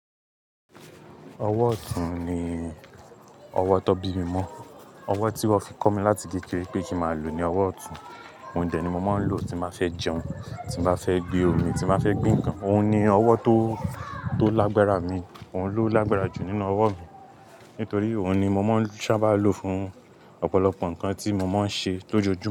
Ọwọ́ ọ̀tún ni ọwọ́ tó bí mi mọ́. Ọwọ́ tí wón fi kọ́ mi láti kékeré pé kí má lò ní ọwọ́ ọ̀tún. Òun dẹ̀ ni mo máa ń lò tí n bá fẹ́ jẹun, tí máa fẹ́ gbe omi, tí máa fẹ́ gbe ǹkan. Òun ni ọwọ́ tó, tó lágbára mi. Òun ló lágbára jù nínú ọwọ́ mi. Nítorí òun ni mo má ń sábà lo fún ọ̀pọ̀lọpọ̀ ǹkan tí mo má ń ṣe lójoojúmọ́